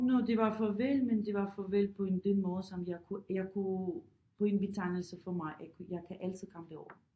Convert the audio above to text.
Nå det var farvel men det var farvel på en den måde som jeg kunne jeg kunne på en betegnelse for mig at jeg kan altid komme derover